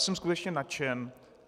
Jsem skutečně nadšen.